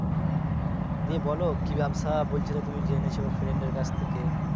বলো কি ব্যাবসা বলছিলে তুমি জেনেছো friend এর কাছ থেকে